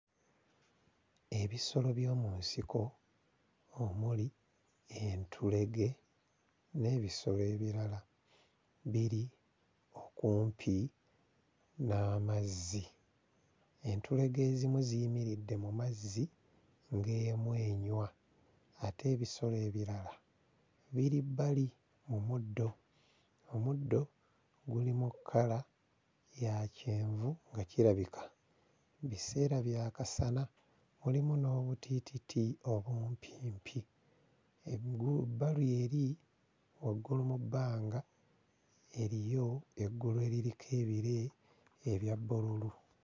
Ebisolo by'omu nsiko omuli entulege n'ebisolo ebirala biri okumpi n'amazzi. Entulege ezimu ziyimiridde mu mazzi ng'emu enywa, ate ebisolo ebirala biri bbali mu muddo, omuddo gulimu kkala ya kyenvu nga kirabika biseera bya kasana mulimu n'obutiititi obumpimpi. Engulu ebbali eri waggulu mu bbanga eriyo eggulu eririko ebire ebya bbululu.